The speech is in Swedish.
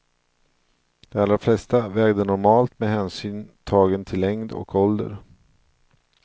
De allra flesta vägde normalt med hänsyn tagen till längd och ålder.